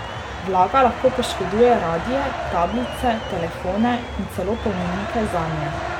Vlaga lahko poškoduje radie, tablice, telefone in celo polnilnike zanje.